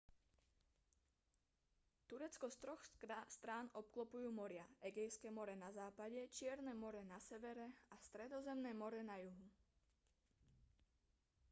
turecko z troch strán obklopujú moria egejské more na západe čierne more na severe a stredozemné more na juhu